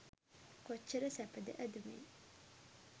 කොච්චර සැපද ඇදුමෙන්?